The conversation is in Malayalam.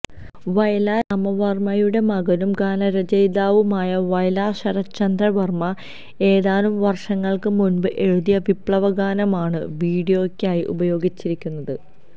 വയലാർ രാമവർമ്മയുടെ മകനും ഗാനരചയിതാവുമായ വയലാര് ശരത്ചന്ദ്ര വര്മ്മ ഏതാനും വര്ഷങ്ങള്ക്ക് മുന്പ് എഴുതിയ വിപ്ലവഗാനമാണ് വീഡിയോയ്ക്കായി ഉപയോഗിച്ചിരിക്കുന്നത്